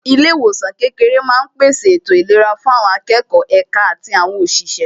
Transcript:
Ilé ìwòsàn kékeré máa ń pèsè ètò ìlera fún àwọn akẹ́kọ̀ọ́, èka àti àwọn òṣìṣẹ́